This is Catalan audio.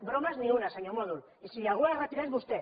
bromes ni una senyor mòdol i si algú ha de retirar és vostè